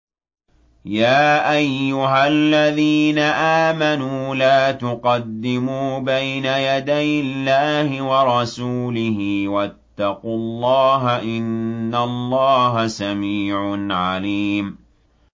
يَا أَيُّهَا الَّذِينَ آمَنُوا لَا تُقَدِّمُوا بَيْنَ يَدَيِ اللَّهِ وَرَسُولِهِ ۖ وَاتَّقُوا اللَّهَ ۚ إِنَّ اللَّهَ سَمِيعٌ عَلِيمٌ